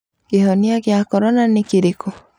Kĩhonia kĩa corona nĩ kĩrĩkũ?